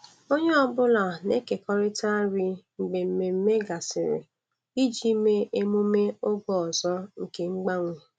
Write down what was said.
Onye ọ bụla na-ekekọrịta nri mgbe mmemme gasịrị iji mee emume oge ọzọ nke mgbanwe.